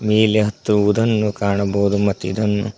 ಮೇಲೆ ಹತ್ತುವುದನ್ನು ಕಾಣಬಹುದು ಮತ್ತು ಇದನ್ನು--